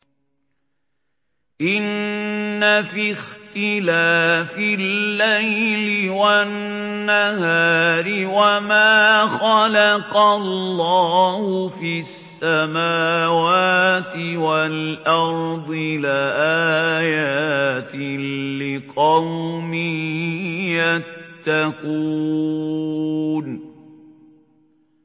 إِنَّ فِي اخْتِلَافِ اللَّيْلِ وَالنَّهَارِ وَمَا خَلَقَ اللَّهُ فِي السَّمَاوَاتِ وَالْأَرْضِ لَآيَاتٍ لِّقَوْمٍ يَتَّقُونَ